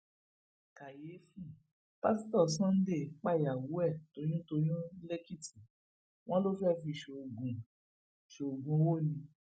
kàyééfì pásítọ sunday pàyàwó ẹ toyùntòun lẹkìtì wọn ló fẹẹ fi í ṣoògùn í ṣoògùn owó ni